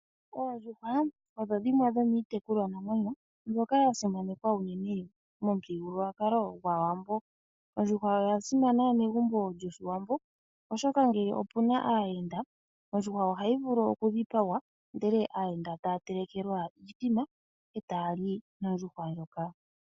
Oondjuhwa odho dhimwe dhomiitekulwanamwenyo ndhoka dha simanekwa unene momuthigululwakalo gwAawambo. Ondjuhwa oya simana megumbo lyOshiwambo, oshoka ngele opu na aayenda, ondjuhwa ohayi vulu okudhipagwa ndele aayenda taya telekelwa iithima e taya li nondjuhwa ndjoka.